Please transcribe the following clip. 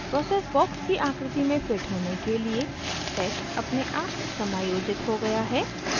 process box की आकृति में fit होने के लिए text अपने आप समायोजित हो गया है